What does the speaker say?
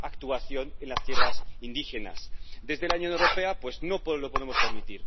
actúan en las tierras indígenas. Desde la Unión Europea no lo podemos permitir.